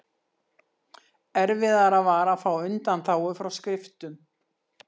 Erfiðara var að fá undanþágu frá skriftum.